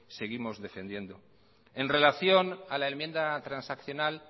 seguimos defendiéndoos en relación a la enmienda transaccional